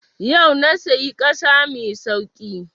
Yau na sayi ƙasa mai sauƙi